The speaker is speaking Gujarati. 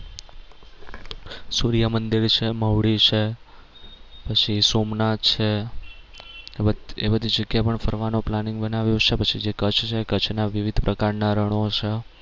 સુર્ય મંદિર છે મહુડી છે પછી સોમનાથ છે એ બધ એ બધી જગ્યા પણ ફરવાનો planning બનાવ્યો છે પછી જે કચ્છ છે એ કચ્છ ના વિવિધ પ્રકારના રણો છે